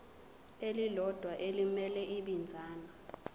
elilodwa elimele ibinzana